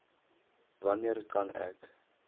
wanneer kan ek